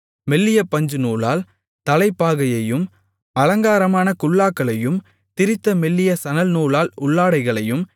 மெல்லிய பஞ்சுநூலால் தலைப்பாகையையும் அலங்காரமான குல்லாக்களையும் திரித்த மெல்லிய சணல்நூலால் உள்ளாடைகளையும்